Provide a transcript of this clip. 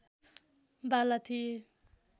वाला थिए